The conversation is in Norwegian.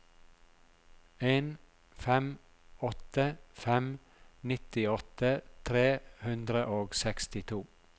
en fem åtte fem nittiåtte tre hundre og sekstito